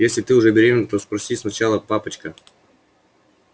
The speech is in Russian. если ты уже беременна то спроси сначала папочка